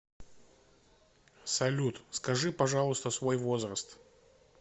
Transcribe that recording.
салют скажи пожалуйста свой возраст